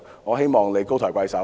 我希望他們高抬貴手。